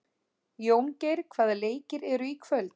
Jóngeir, hvaða leikir eru í kvöld?